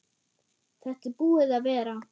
Þetta er búið að vera.